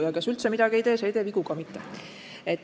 Samas kes üldse midagi ei tee, see ei tee vigu ka mitte.